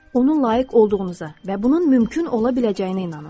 Onun layiq olduğunuza və bunun mümkün ola biləcəyinə inanın.